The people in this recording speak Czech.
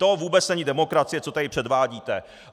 To vůbec není demokracie, co tady předvádíte.